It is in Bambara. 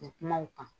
U bɛ kuma u kan